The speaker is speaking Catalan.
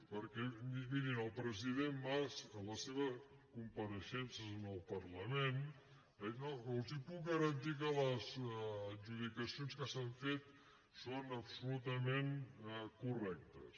perquè mirin el president mas en les seves compareixences en el parlament ha dit els puc garantir que les adjudicacions que s’han fet són absolutament correctes